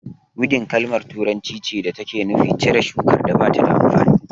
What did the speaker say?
Widin kalma turanci ce da take nufi cire shukar da ba ta da amfani